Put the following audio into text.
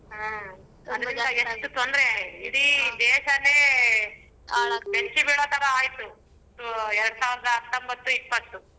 ಹ್ಮ್ ತೊಂದರೆ ಇಡೀ ದೇಶಾನೆ ಬೆಚ್ಚಿಬಿಳೋತರ ಆಯ್ತು ಎರಡು ಸಾವಿರದ ಹತ್ತೊಂಬತ್ತು ಇಪ್ಪತ್ತು.